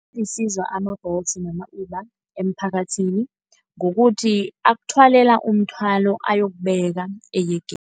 Alisizo ama-Bolt nama-Uber emphakathini kukuthi akuthwalela umthwalo ayokubeka eyegeni.